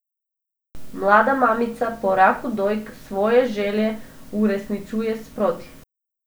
Mlada mamica po raku dojk svoje želje uresničuje sproti.